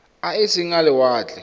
a e seng a lewatle